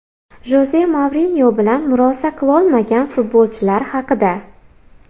Joze Mourinyo bilan murosa qilolmagan futbolchilar haqida.